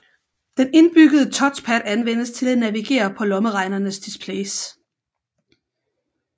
Den indbyggede touchpad anvendes til at navigere på lommeregnernes displays